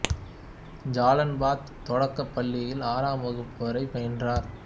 Jalan Batu தொடக்கப் பள்ளியில் ஆறாம் வகுப்பு வரை பயின்றார்